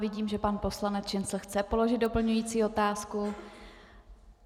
Vidím, že pan poslanec Šincl chce položit doplňující otázku.